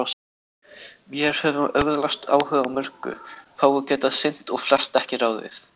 Vér höfum öðlast áhuga á mörgu, fáu getað sinnt og flest ekki ráðið við.